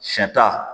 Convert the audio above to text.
Sɛ ta